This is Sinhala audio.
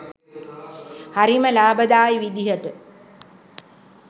හරිම ලාභදායී විදිහට